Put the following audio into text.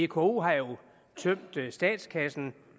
vko har jo tømt statskassen